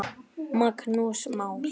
Magnús Már.